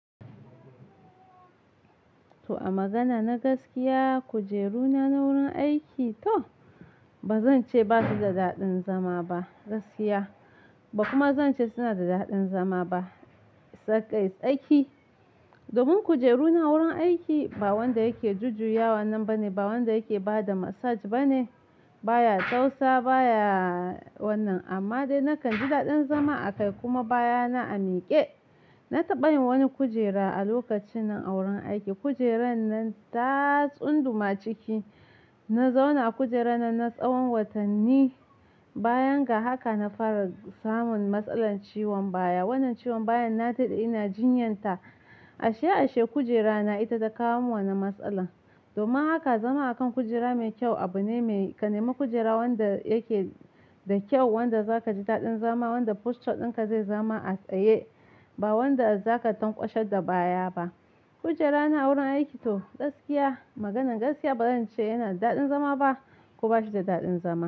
To a magana na gaskiya kujeru na wurin aiki to ba zan ce basu da daɗin zama ba gaskiya ba kuma zan ce suna da daɗin zama ba. Tsakai tsaki. Domin kujeru na wurin aiki ba wanda yake jujjuyawa nan bane, ba wanda yake bada massage bane, baya tausa baya wannan. Amma dai nakan ji daɗin zama a kai kuma baya na a miƙe. Na taɓa yin wani kujera a lokacin na auren aiki. Kujeran nan ta tsunduma ciki. Na zauna a kujera nan na tsawon watanni bayan ga haka na fara samun matsalar ciwon baya. Wannan ciwon baya na naɗe ina jinyanta ashe ashe kujera na ita ta kawo min wannan matsala. Domin haka zama a kan kujera mai kyau abu ne mai-- ka nema kujera wanda yake da kyau wanda zaka ji daɗin zama wanda posture ɗinka zai zama a tsaye ba wanda zaka tankwashe da baya ba. Kujera na wurin aiki to gaskiya maganan gaskiya ba zan ce yana da daɗin zama ba kuma bashi da daɗin zama.